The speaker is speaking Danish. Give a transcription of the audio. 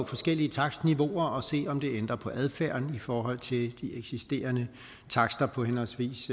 forskellige takstniveauer og se om det ændrer på adfærden i forhold til de eksisterende takster på henholdsvis